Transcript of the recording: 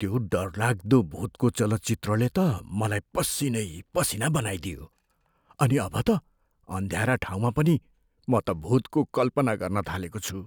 त्यो डरलाग्दो भुतको चलचित्रले त मलाई पसिनै पसिना बनाईदियो अनि अब त अँध्यारा ठाउँमा पनि म त भुतको कल्पना गर्न थालेको छु।